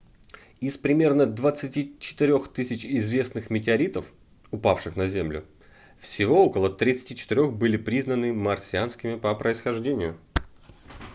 из примерно 24 000 известных метеоритов упавших на землю всего около 34 были признаны марсианскими по происхождению